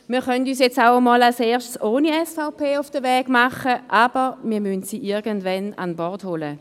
Wir können uns jetzt erst einmal ohne SVP auf den Weg machen, aber wir müssen sie irgendwann ins Boot holen.